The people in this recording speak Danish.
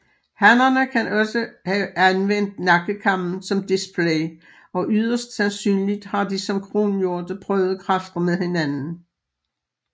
Hannerne kan også have anvendt nakkekammen som display og yderst sandsynligt har de som kronhjorte prøvet kræfter med hinanden